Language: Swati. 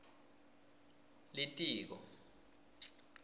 litiko